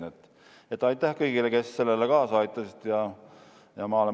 Nii et aitäh kõigile, kes sellele kaasa aitasid!